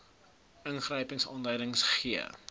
ingryping aanleiding gee